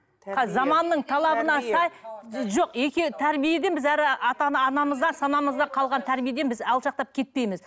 заманның талабына сай жоқ екі тәрбиеден біз әрі ата анамыздан санамызда қалған тәрбиеден біз алшақтап кетпейміз